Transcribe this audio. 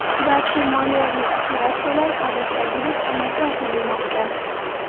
barcha moliyaviy operatsiyalar odatdagidek amalga oshirilmoqda.